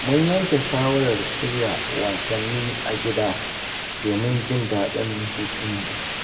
Mun yanke shawarar shirya wasanni a gida domin jin daɗin hutunmu.